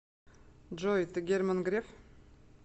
джой ты герман греф